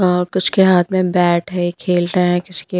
और कुछ के हाथ में बैट है खेल रहे हैंकुछ के --